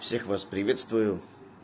всех вас приветствую